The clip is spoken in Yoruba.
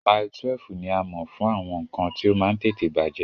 Mile 12 ní a mọ̀ fún àwọn nǹkan tí ó máa ń tètè bàjẹ́